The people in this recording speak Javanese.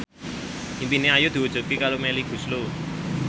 impine Ayu diwujudke karo Melly Goeslaw